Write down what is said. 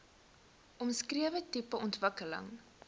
omskrewe tipe ontwikkeling